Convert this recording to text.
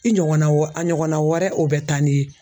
I ɲɔgɔnna wa a ɲɔgɔnna wɛrɛ o bɛ taa n'i ye.